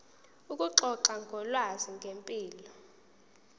ukuxoxa ngolwazi ngempilo